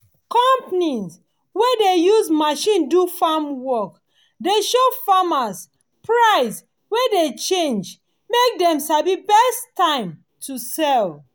companies wey dey use machine do farm work dey show farmers price wey dey change mak dem sabi best time to sell